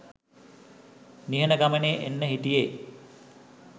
නිහඬ ගමනේ එන්න හිටියේ